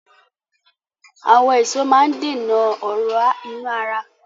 Àwọn èso máa ń dènà ọ̀ra inú ara